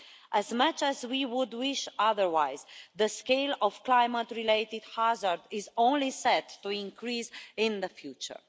As much as we would wish otherwise, the scale of climate-related hazard is only set to increase in the future.